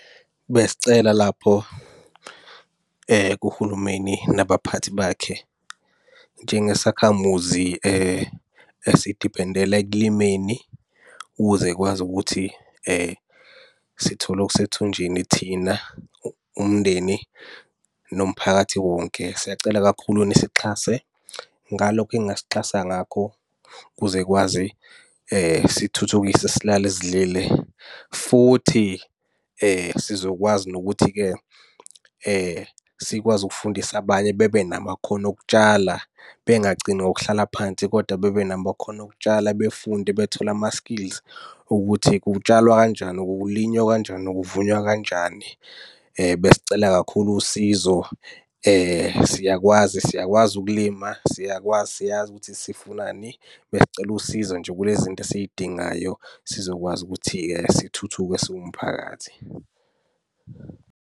Besicela lapho kuhulumeni nabaphathi bakhe, njengesakhamuzi esidiphendele ekulimeni ukuze kwazi ukuthi sithole okusethunjini thina, umndeni nomphakathi wonke. Siyacela kakhulu nisixhase ngalokho eningasixhasa ngakho ukuze kwazi sithuthukise silale sidlile, futhi sizokwazi nokuthi-ke sikwazi ukufundisa abanye bebe namakhono okutshala. Bengagcini ngokuhlala phansi kodwa bebe namakhono okutshala befunde bethole ama-skills, ukuthi kutshalwa kanjani, kulinywa kanjani, kuvunwa kanjani? Besicela kakhulu usizo, siyakwazi siyakwazi ukulima, siyakwazi siyazi ukuthi sifunani. Besicela usizo nje kule zinto esiy'dingayo sizokwazi ukuthi-ke sithuthuke siwumphakathi.